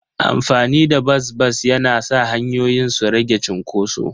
Amfani da bas-bas yana sa hanyoyin su rage cunkoso.